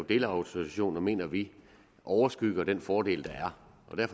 delautorisationer mener vi overskygger den fordel der er